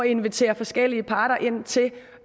invitere forskellige parter ind til